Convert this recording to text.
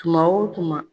Tuma o tuma